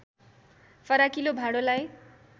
फराकिलो भाँडोलाई